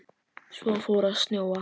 Svo fór að snjóa.